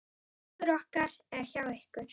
Hugur okkar er hjá ykkur.